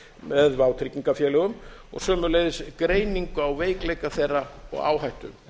með vátryggingafélögum og sömuleiðis greiningu á veikleikum þeirra og áhættu